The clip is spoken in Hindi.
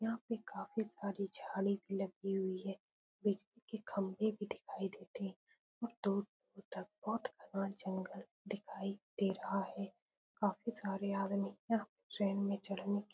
यहाँ पे काफी साड़ी जादी भी लगी हुई है। बिच में खम्भे भी दिखयी देते है। दूर-दूर तक बोहोत बड़ा जंगल दिखाई दे रहा है। काफी सारे आदमी यहाँ टहलने चलने की --